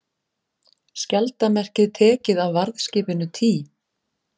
Skjaldarmerkið tekið af varðskipinu Tý